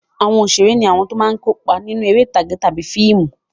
Àwọn òṣèré ní àwọn tó máa ń kópa nínú eré ìtàgé tàbí fíìmù.